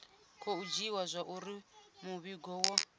khou dzhiiwa zwauri muvhigo wo